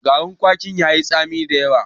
Garin kwakin tayi tsami da yawa.